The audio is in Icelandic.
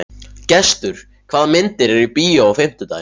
Gestur, hvaða myndir eru í bíó á fimmtudaginn?